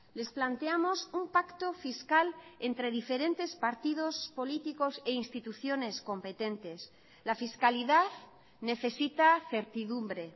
les planteamos un pacto fiscal entre diferentes partidos políticos e instituciones competentes la fiscalidad necesita certidumbre